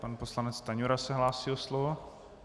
Pan poslanec Stanjura se hlásí o slovo.